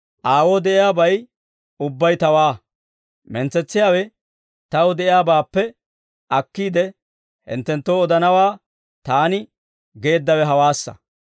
Aawoo de'iyaabay ubbay Tawaa; mentsetsiyaawe Taw de'iyaabaappe akkiide, hinttenttoo odanawaa Taani geeddawe hawaassa.